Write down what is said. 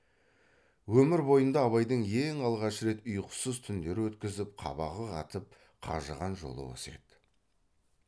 өмір бойында абайдың ең алғаш рет ұйқысыз түндер өткізіп қабағы қатып қажыған жолы осы еді